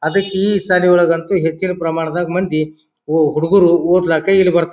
ಅದಕಿ ಈ ಶಾಲೆಗೊಳಗಂತೂ ಹೆಚ್ಚಿನ ಪ್ರಮಾಣದಗ್ ಮಂದಿ ಓ ಹುಡುಗ್ರು ಓದಲಾಕ ಇಲ್ಲಿ ಬರ್ತ--